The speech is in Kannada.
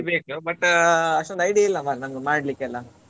ಕಲಿಬೇಕು but ಅಷ್ಟೊಂದು idea ಇಲ್ಲ ಮಾರ್ರೆ ನನ್ಗೆ ಮಾಡ್ಲಿಕ್ಕೆ ಎಲ್ಲ.